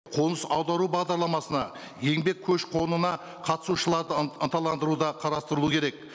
қоныс аудару бағдарламасына еңбек көші қонына қатысушыларды ынталандыру да қарастыру керек